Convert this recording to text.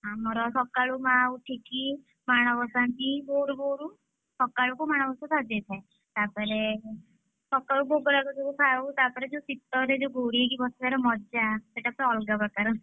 ଆମର ସକାଳୁ ମାଆ ଉଠିକି ମାଣବସାନ୍ତି, ଭୋରୁ ଭୋରୁ ସକାଳକୁ ମାଣବସା ସରିଯାଇଥାଏ। ତା ପରେ ସକାଳକୁ ଭୋଗରାଗ ସବୁ ଖାଉ ତାପରେ ଶୀତରେ ଯୋଉ ଘୋଡେଇ ହେଇ ବସିବାର ମଜା ସେଇଟାତ ଅଲଗା ପ୍ରକାର।